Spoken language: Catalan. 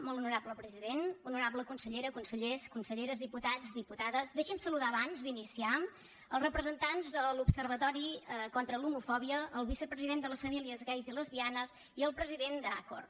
molt honorable president honorable consellera consellers conselleres diputats diputades deixi’m saludar abans d’iniciar els representants de l’observatori contra l’homofòbia el vicepresident de les famílies gais i lesbianes i el president d’acord